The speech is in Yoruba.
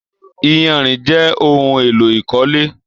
Iyanrìn jẹ ohùn èlò ìkọ́lé